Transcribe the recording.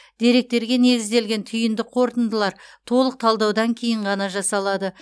деректерге негізделген түйінді қорытындылар толық талдаудан кейін ғана жасалады